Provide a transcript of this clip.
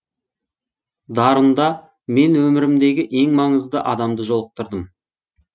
дарында мен өмірімдегі ең маңызды адамды жолықтырдым